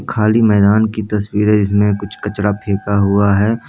खाली मैदान की तस्वीर है जिसमे कुछ कचरा फेका हुआ है ।